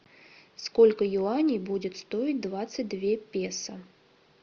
сколько юаней будет стоить двадцать две песо